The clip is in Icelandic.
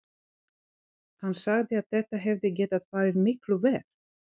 Hann sagði að þetta hefði getað farið miklu verr.